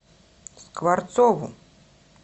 скворцову